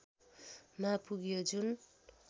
मा पुग्यो जुन